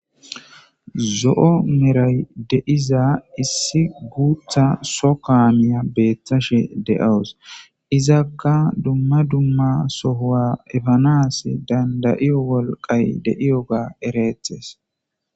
Zo,o meray deiza issi guutha so kaamiya beeththashe de7awus izakka dumma dumma sohoa efanas dandayiyo wolqay de7iyoga ereethes